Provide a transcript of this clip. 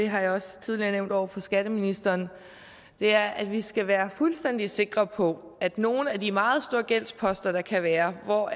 har jeg også tidligere nævnt over for skatteministeren og det er at vi skal være fuldstændig sikre på at nogle af de meget store gældsposter der kan være hvor